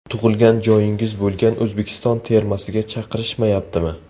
Tug‘ilgan joyingiz bo‘lgan O‘zbekiston termasiga chaqirishmayaptimi?